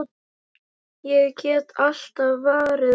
Ég get alltaf varið hana!